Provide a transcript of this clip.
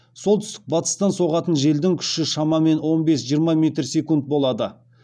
солтүстік батыстан соғатын желдің күші шамамен он бес жиырма метр секунд болады